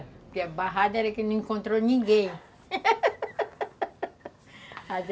Porque a barrada era que não encontrou ninguém